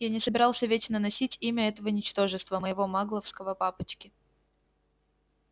я не собирался вечно носить имя этого ничтожества моего магловского папочки